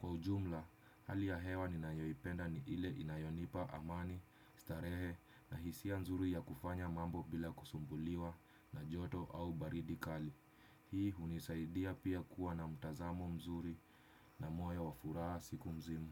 Kwa ujumla, hali ya hewa ninayoipenda ni ile inayonipa amani, starehe na hisia nzuri ya kufanya mambo bila kusumbuliwa na joto au baridi kali. Hii unisaidia pia kuwa na mutazamo mzuri na moyo wa furaha siku mzima.